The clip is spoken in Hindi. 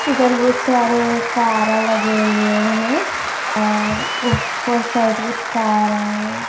इधर बहुत सारे कारा लगे हुए हैं और ऊपर साइड बहुत कारा है।